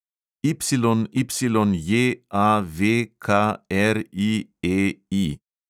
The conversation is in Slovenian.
YYJAVKRIEI